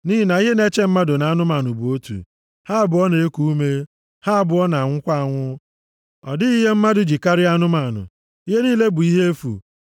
Nʼihi na ihe na-eche mmadụ na anụmanụ bụ otu. Ha abụọ na-eku ume, ha abụọ na-anwụkwa anwụ. Ọ dịghị ihe mmadụ ji karịa anụmanụ. Ihe niile bụ ihe efu.